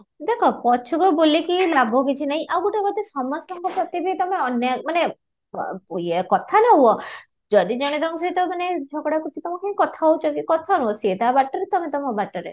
ଦେଖ ପଛକୁ ବୁଲି କି ଲାଭ କିଛି ନାହିଁ ଆଉ ଗୋଟେ କଥା ସମସ୍ତଙ୍କ ପ୍ରତି ବି ତମେ ଅନ୍ୟାୟ ମାନେ ଅଃ ୟେ କଥା ନ ହୁଅ ଯଦି ଜଣେ ତମ ସହିତ ମାନେ ଝଗଡା କରୁଛି ତମେ କାଇଁ କଥା ହଉଛ କି କଥା ନ ହୁଅ ସିଏ ତା ବାଟରେ ତମେ ତମୋ ବାଟରେ